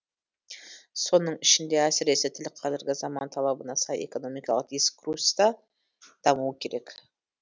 соның ішінде әсіресе тіл қазіргі заман талабына сай экономикалық дискурста дамуы керек